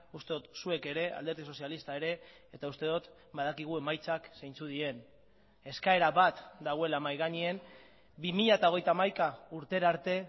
uste dut zuek ere alderdi sozialista ere eta uste dut badakigu emaitzak zeintzuk diren eskaera bat dagoela mahai gainean bi mila hogeita hamaika urtera arte